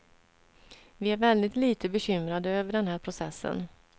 Vi är väldigt lite bekymrade över den här processen.